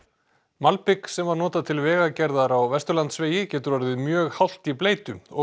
malbik sem var notað til vegagerðar á Vesturlandsvegi getur orðið mjög hált í bleytu og